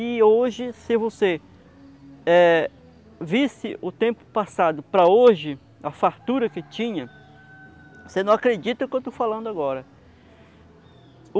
E hoje, se você eh visse o tempo passado, para hoje, a fartura que tinha, você não acredita o que eu estou falando agora.